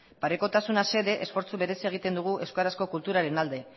parekotasuna xede esfortzu berezia egiten dugu euskarazko kulturaren alde